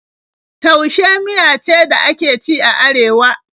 Taushe miya ce da ake ci a Arewa.